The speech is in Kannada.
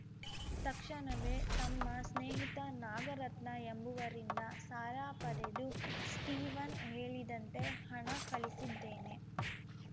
ತಕ್ಷಣವೇ ತಮ್ಮ ಸ್ನೇಹಿತ ನಾಗರತ್ನ ಎಂಬುವರಿಂದ ಸಾಲ ಪಡೆದು ಸ್ಟೀವನ್‌ ಹೇಳಿದಂತೆ ಹಣ ಕಳಿಸಿದ್ದೇನೆ